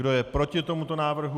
Kdo je proti tomuto návrhu?